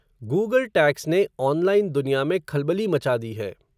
Google tax ने, online दुनिया में खलबली मचा दी है.